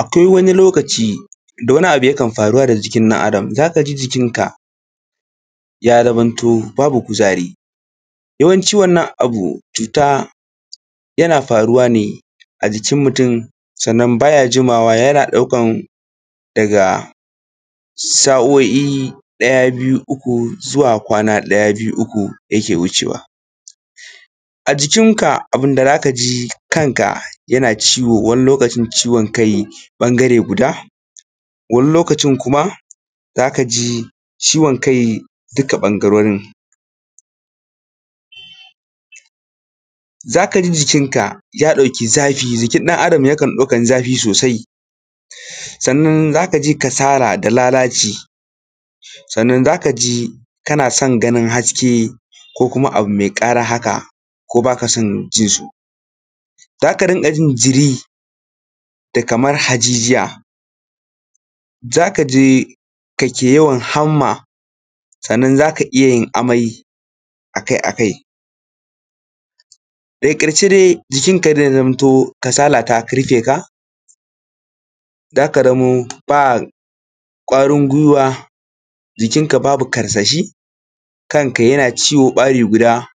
Akwai wani lokaci da wani abu yakan faruwa da jikin ɗan Adam. Za ka ji jikinka ya zamo babu kuzari yawanci wannan abu yana faruwa ne a jikin mutum sannan yana ɗaukar daga sa'o'i ɗaya har biyu uku, zuwa kwana ɗaya biyu uku yake wucewa. A jikinka abun da za ka ji shi ne kanka yana ciwo wani lokacin ciwon kai ɓangare guda wani lokacin kuma za ka ji ciwon kai duka ɓangarorin. Za ka ji jikinka ya ɗauki zafi jikin ɗan Adam yakan ɗauka zafi sosai sannan za ka ji kasala da lalaci sannan za ka ji kana son ganin haske ko wani abu mai ƙara haka ko ba ka son jinsu za ka riƙa jin jiri da hajijiya za ka ji kake yawan hamma sannan za ka iya yin amai a kai a kai daga karshe dai jikinka zai zamanto kasala ta riƙe ka za ka zamo ba kwarin gwuiwa jikinka babu karsashi kanka yana ciwo ɓari guda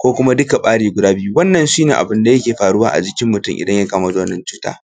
ko kuma duka ɓari guda biyu wannan shi ne abun da ke faruwa jikin mutum idan ya kamu da wannan cuta.